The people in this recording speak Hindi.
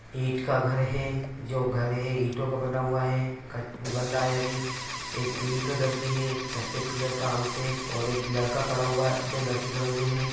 ईट का घर है जो घर है ईटों का बना हुआ है क बन रहा है अभी एक पिंक कलर की है एक सफेद कलर का हाउस है और एक लड़का खडा हुआ है दो लड़के खडे हुए हैं।